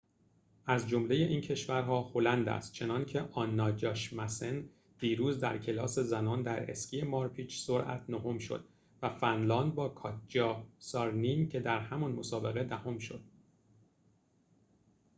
از جمله این کشورها هلند است چنان‌که آنا جاشمسن دیروز در کلاس زنان در اسکی مارپیچ سرعت نهم شد و فنلاند با کاتجا سارینن که در همان مسابقه دهم شد